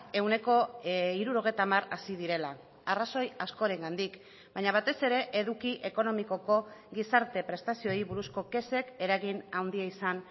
ehuneko hirurogeita hamar hazi direla arrazoi askorengandik baina batez ere eduki ekonomikoko gizarte prestazioei buruzko kexek eragin handia izan